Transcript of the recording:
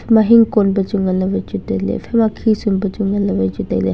ikha ma hingkon pe chu ngan ley wai chu tai ley ephai ma khisum pe chu ngan ley wai tai ley.